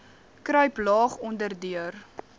kruip laag onderdeur